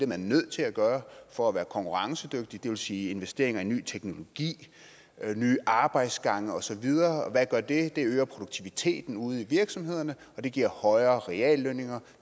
man nødt til at gøre for at være konkurrencedygtig det vil sige investeringer i ny teknologi nye arbejdsgange og så videre hvad gør det det øger produktiviteten ude i virksomhederne og det giver højere reallønninger